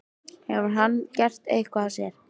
Hefur hann gert eitthvað af sér?